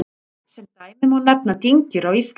Sem dæmi má nefna dyngjur á Íslandi.